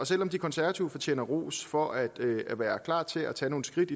selv om de konservative fortjener ros for at være klar til at tage nogle skridt